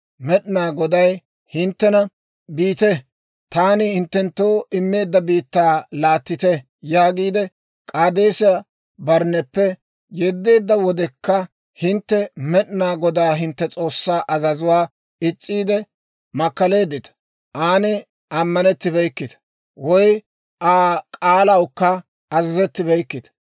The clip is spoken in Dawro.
Med'inaa Goday hinttena, ‹Biite, taani hinttenttoo immeedda biittaa laattite› yaagiide, K'aadeesa-Barnneppe yeddeedda wodekka, hintte Med'inaa Godaa hintte S'oossaa azazuwaa is's'iide makkaleeddita; aan ammanettibeykkita woy Aa k'aalawukka azazettibeykkita.